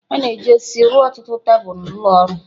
A na-eji osisi rụọ ọtụtụ tebụl ụlọ ọrụ.